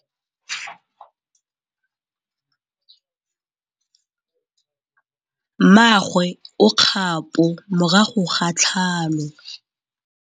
Mmagwe o kgapô morago ga tlhalô.